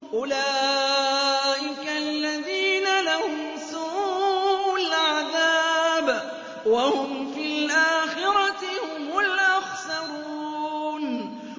أُولَٰئِكَ الَّذِينَ لَهُمْ سُوءُ الْعَذَابِ وَهُمْ فِي الْآخِرَةِ هُمُ الْأَخْسَرُونَ